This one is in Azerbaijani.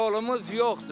Yolumuz yoxdur.